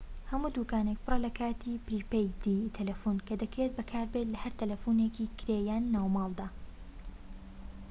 هەموو دوکانێك پڕە لە کارتی پریپەیدی تەلەفۆن کە دەکرێت بەکاربێت لە هەر تەلەفۆنێکی کرێ یان ناوماڵدا